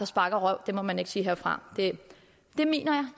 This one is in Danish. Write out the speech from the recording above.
sparker røv det må man ikke sige herfra men det mener